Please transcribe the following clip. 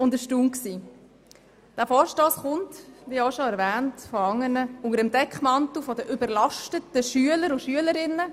Dieser Vorstoss kommt, wie schon erwähnt, unter dem Vorwand daher, die Schülerinnen und Schüler seien überlastet.